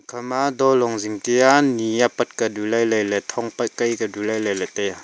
khama dolong zing tia nyi apat ka du lalai ley thong pat kai ka du lalai ley taiya.